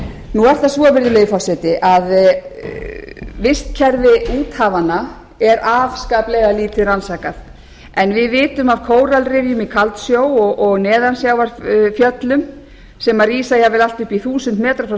nú er það svo virðulegi forseti að vistkerfi úthafanna er afskaplega lítið rannsakað en við vitum af kóralrifjum í kaldsjó og neðansjávarfjöllum sem rísa jafnvel allt upp í þúsund metra